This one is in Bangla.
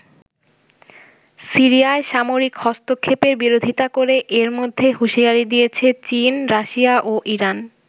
সিরিয়ায় সামরিক হস্তক্ষেপের বিরোধিতা করে এর মধ্যেই হুঁশিয়ারি দিয়েছে চীন, রাশিয়া ও ইরান।